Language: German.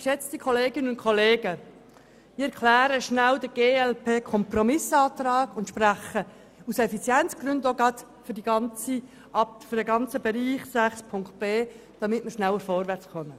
Ich erkläre kurz den Kompromissantrag der glp und spreche aus Effizienzgründen auch gerade zum gesamten Block 6.b, damit wir schneller vorwärts kommen.